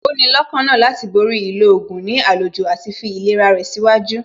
Ó ní lọ́kàna láti borí ìlò oògùn ní àlòjù àti fi ìlera rẹ̀ síwájú